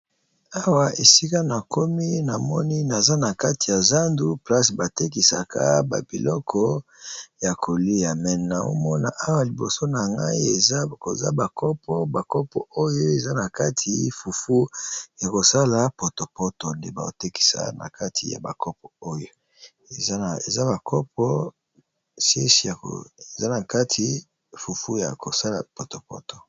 Awa esika na komi na moni naza na kati ya zandu place batekisaka babiloko ya kolia nazo mona awa liboso na ngai bakopo bakopo oyo fufu ya kosala potopoto nde bakotekisa na kati ya bakopo oyo eza na kati fufu ya kosala potopoto.